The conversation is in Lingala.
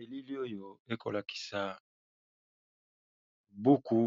Elili oyo ekolakisa buku